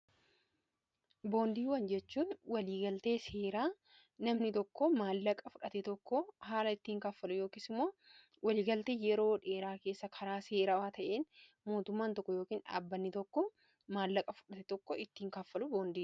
boondiiwwan jechuun waliigaltee seeraa namni tokko maallaqa fudhate tokko haala ittiin kaffalu yookiis imoo waliigaltee yeroo dheeraa keessa karaa seeraa waa ta'een mootumaan tokko yookn dhaabbanni tokko maallaqa fudhate tokko ittiin kaffalu boondie